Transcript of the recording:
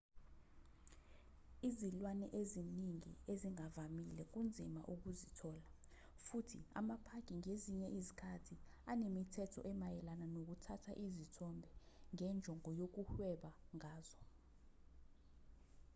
izilwane eziningi ezingavamile kunzima ukuzithola futhi amapaki ngezinye izikhathi anemithetho emayelana nokuthatha izithombe ngenjongo yokuhweba ngazo